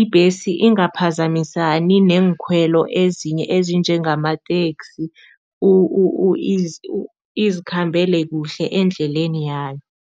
ibhesi ingaphazamisani neenkhwelo ezinye ezinjengamateksi, izikhambele kuhle endleleni yayo.